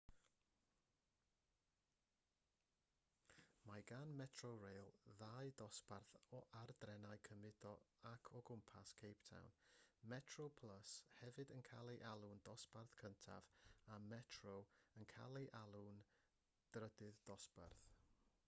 mae gan metrorail ddau ddosbarth ar drenau cymudo yn ac o gwmpas cape town: metroplus hefyd yn cael ei alw'n ddosbarth cyntaf a metro yn cael ei alw'n drydydd dosbarth